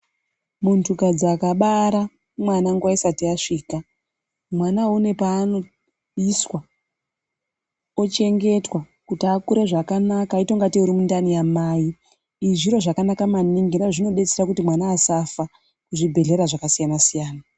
Muntukadzi akabara mwana nguva isati yasvika mwanawo une paanoiswa ochengetwa kuti akure zvakanaka aite ungatei urimundani yamai. Izvi zviro zvakannaka maningi ngenyaya yekuti zvinodetsera kuti mwana asafa muzvibhehlera zvakasiyana-siyana.